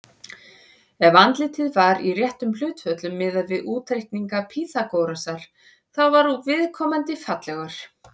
Ef andlitið var í réttum hlutföllum, miðað við útreikninga Pýþagórasar, þá var viðkomandi fallegur.